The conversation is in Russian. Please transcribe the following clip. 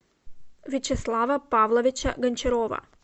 вячеслава павловича гончарова